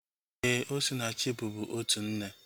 Éè, Osinachi bubu otu nne